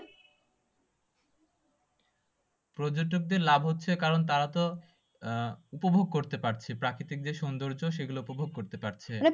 পর্যটকদের লাভ হচ্ছে কারণ তারা তো আহ উপভোগ করতে পারছে প্রাকৃতিক যে সুন্দর্য সেগুলো উপভোগ করতে পারছে।